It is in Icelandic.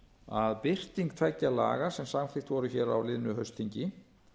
að birting tveggja laga sem samþykkt voru hér á liðnu haustþingi